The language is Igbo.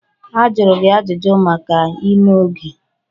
Ajụrụ gị ajụjụ maka ime oge.